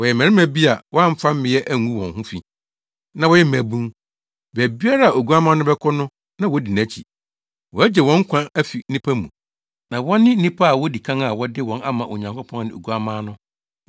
Wɔyɛ mmarima bi a wɔamfa mmea angu wɔn ho fi, na wɔyɛ mmabun. Baabiara a Oguamma no bɛkɔ no na wodi nʼakyi. Wɔagye wɔn nkwa afi nnipa mu na wɔne nnipa a wodi kan a wɔde wɔn ama Onyankopɔn ne Oguamma no.